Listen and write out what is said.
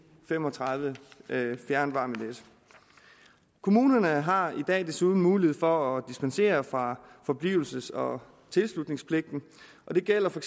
fem og tredive fjernvarmenet kommunerne har i dag desuden mulighed for at dispensere fra forblivelses og tilslutningspligten og det gælder for